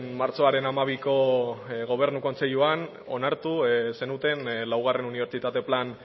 martxoaren hamabiko gobernu kontseiluan onartu zenuten laugarren unibertsitate plan